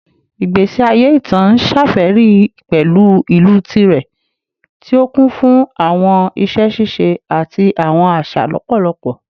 Igbesi aye ita n ṣafẹri pẹlu ilu tirẹ, ti o kun fun awọn iṣẹ ṣiṣe ati awọn aṣa lọpọlọpọ